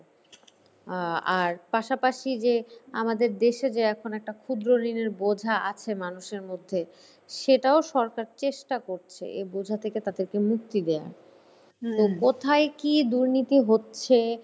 আহ আর পাশাপাশি যে আমাদের দেশে যে এখন একটা ক্ষুদ্র ঋণের বোঝা আছে মানুষের মধ্যে সেটাও সরকার চেষ্টা করছে এ বোঝা থেকে তাদেরকে মুক্তি দেওয়া। কোথায় কী দুর্নীতি হচ্ছে ,